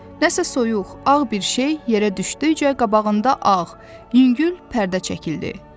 Nəsə soyuq, ağ bir şey yerə düşdükcə qabağında ağ, yüngül pərdə çəkildi.